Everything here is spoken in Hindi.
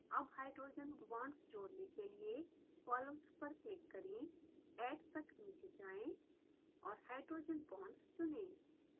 अब हाइड्रोजन बांड्स जोड़ने के लिए columns पर क्लिक करें add तक नीचे जाएँ और hydrogen bonds चुनें